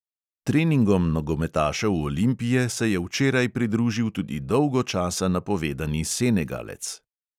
Treningom nogometašev olimpije se je včeraj pridružil tudi dolgo časa napovedani senegalec.